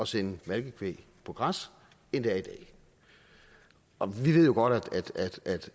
sende malkekvæg på græs end det er i dag og vi ved jo godt